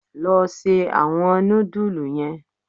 Lọ ṣe awọn nudulú yen!